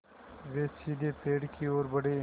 वे सीधे पेड़ की ओर बढ़े